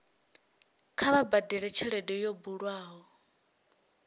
kha vha badele tshelede yo bulwaho